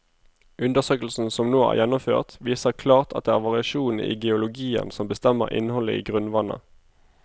Undersøkelsen som nå er gjennomført, viser klart at det er variasjonene i geologien som bestemmer innholdet i grunnvannet.